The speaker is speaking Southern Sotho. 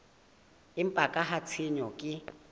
empa ka ha tshenyo ke